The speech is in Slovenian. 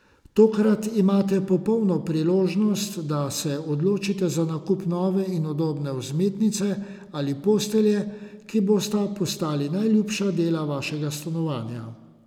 Tokrat imate popolno priložnost, da se odločite za nakup nove in udobne vzmetnice ali postelje, ki bosta postali najljubša dela vašega stanovanja.